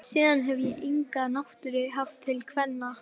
Síðan hefi ég enga náttúru haft til kvenna.